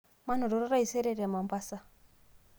manototo taisere te Mombasa